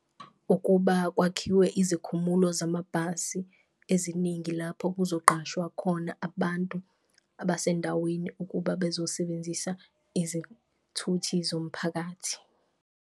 Ukuba kwakhiwe izikhumulo zamabhasi eziningi lapho kuzoqashwa khona abantu abasendaweni, ukuba bezosebenzisa izithuthi zomphakathi.